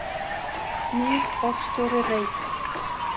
Nýr forstjóri Reita